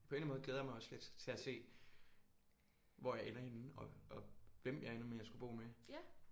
På en eller anden måde glæder jeg mig også lidt til at se hvor jeg ender henne og og hvem jeg ender med at skulle bo med